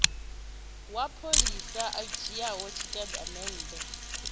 wa pholisa a dzhiaho tshitatamennde